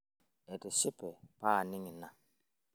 atishipe paaning' ina